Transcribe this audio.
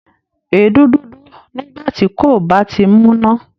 Èédú dúdú nígbà tí kò bá tíì múná